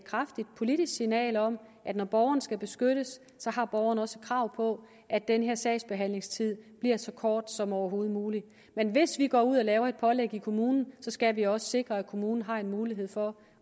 kraftigt politisk signal om at når borgeren skal beskyttes har borgeren også et krav på at den her sagsbehandlingstid bliver så kort som overhovedet muligt men hvis vi går ud og laver et pålæg for kommunen skal vi også sikre at kommunen har en mulighed for